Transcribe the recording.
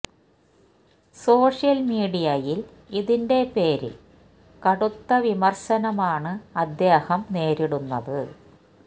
social മീഡിയയിൽ ഇതിന്റെ പേരിൽ കടുത്ത വിമർ ശനമാണ് അദ്ദേഹം നേരിടുന്നത്